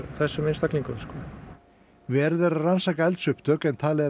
þessum einstaklingum verið er að rannsaka eldsupptök en talið er